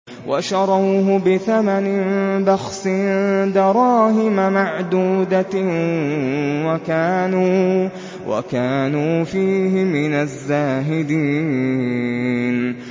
وَشَرَوْهُ بِثَمَنٍ بَخْسٍ دَرَاهِمَ مَعْدُودَةٍ وَكَانُوا فِيهِ مِنَ الزَّاهِدِينَ